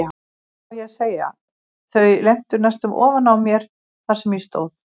Hvað á ég að segja, þau lentu næstum ofan á mér þar sem ég stóð.